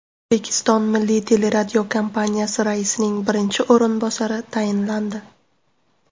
O‘zbekiston Milliy teleradiokompaniyasi raisining birinchi o‘rinbosari tayinlandi.